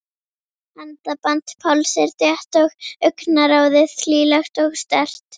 Handaband Páls er þétt og augnaráðið hlýlegt og sterkt.